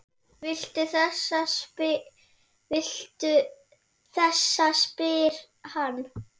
Viltu þessa? spyr hann.